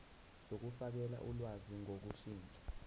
zokufakela ulwazi ngokushintsha